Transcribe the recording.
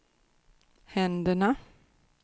händerna